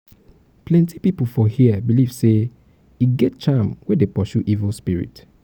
plenty pipu for here beliv sey e get charm wey dey pursue evil spirit.